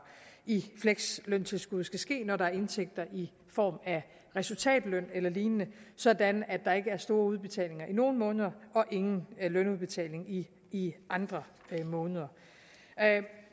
i fleksløntilskuddet skal ske når der er indtægter i form af resultatløn eller lignende sådan at der ikke er store udbetalinger i nogle måneder og ingen lønudbetaling i i andre måneder